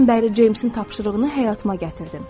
Ondan bəri Ceymsin tapşırığını həyatıma gətirdim.